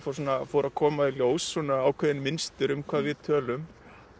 fóru að koma í ljós ákveðin mynstur um hvað við tölum